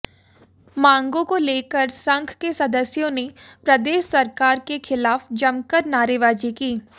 मांगों को लेकर संघ के सदस्यों ने प्रदेश सरकार के खिलाफ जमकर नारेबाजी की